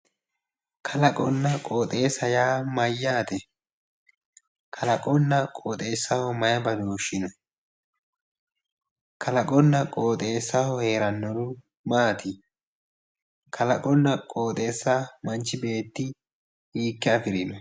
Kalaqonna qoxeessa yaa mayyaate? Kalaqonna qoxeessaho maye badooshshi no? Kalaqonna qoxeessaho heerannohu maati? Kalaqonna qoxeessa manchi beetti hiikke afirino?